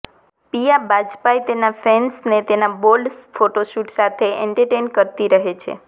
પિયા બાજપાઈ તેના ફેન્સને તેના બોલ્ડ ફોટોશૂટ સાથે એન્ટર્ટેઈન કરતી રહે છે